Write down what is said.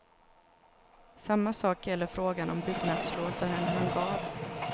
Samma sak gäller frågan om byggnadslov för en hangar.